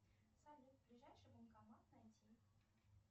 салют ближайший банкомат найти